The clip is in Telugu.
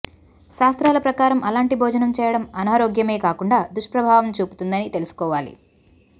శాస్త్రాల ప్రకారం అలాంటి భోజనం చేయడం అనారోగ్యమే కాకుండా దూష్ప్రభావం చూపుతుందని తెలుసుకోవాలి